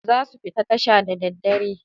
Zasu fita tashe da daddare.